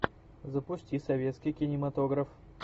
запусти советский кинематограф